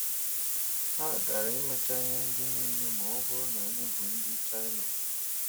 Ha agaara imecha ihe ndị niile ma ọ bụrụ na anyị bụ ndị China